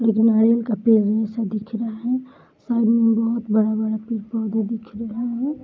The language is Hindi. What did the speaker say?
एक नारियल का पेड़ जैसा दिख रहा है सामने बोहोत बड़ा-बड़ा पेड़-पौधा दिख रहा है।